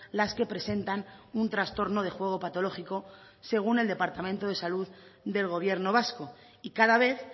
las que presentan un trastorno de juego patológico según el departamento de salud del gobierno vasco y cada vez